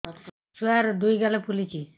ଛୁଆର୍ ଦୁଇ ଗାଲ ଫୁଲିଚି